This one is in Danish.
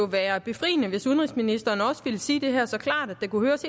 være befriende hvis udenrigsministeren også ville sige det her så klart at det kunne høres